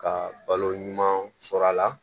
Ka balo ɲuman sɔrɔ a la